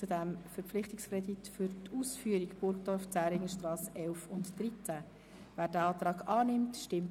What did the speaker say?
Wer den Verpflichtungskredit annimmt, stimmt Ja, wer diesen ablehnt, stimmt Nein.